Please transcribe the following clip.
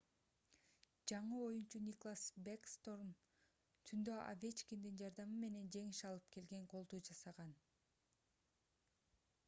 жаңы оюнчу никлас бэкстром түндө овечкиндин жардамы менен жеңиш алып келген голду жасаган